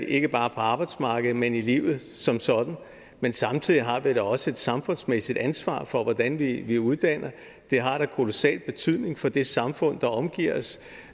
ikke bare på arbejdsmarkedet men i livet som sådan men samtidig har vi da også et samfundsmæssigt ansvar for hvordan vi vi uddanner det har da kolossal betydning for det samfund der omgiver os